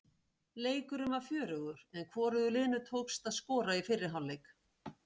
Leikurinn var fjörugur en hvorugu liðinu tókst að skora í fyrri hálfleik.